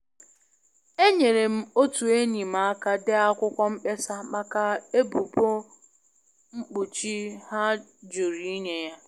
Enyere m otu enyi m aka dee akwụkwọ mkpesa maka ebubu mkpuchi ha jụrụ inye ya.